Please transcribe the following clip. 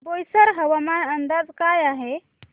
बोईसर हवामान अंदाज काय आहे